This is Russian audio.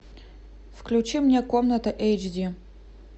включи мне комната эйч ди